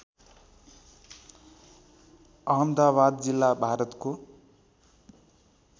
अहमदाबाद जिल्ला भारतको